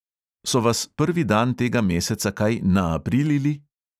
So vas prvi dan tega meseca kaj naaprilili?